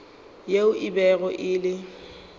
yeo e bego e le